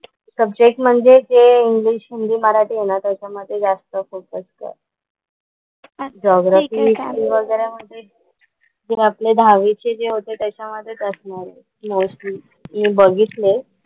Subject म्हणजे जे Hindi, English, Marathi आहे ना त्याच्या मध्ये जस्त फोकस कर. जिऑग्राफी, हिस्टरी वगैरा मध्ये तू आपले दहावी चे जे होते त्याच्या मधलेच असणार आहे मोस्टली, मी बघितलेत.